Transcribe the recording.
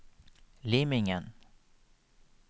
Limingen